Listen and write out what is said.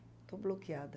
Estou bloqueada.